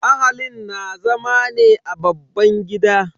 Ahalin na zama ne a babban gida.